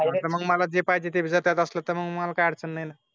पळ मला जे पाहिजे ते जात असेल तर मला काय अडचण नाही.